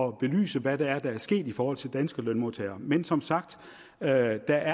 at belyse hvad det er der er sket i forhold til danske lønmodtagere men som sagt er der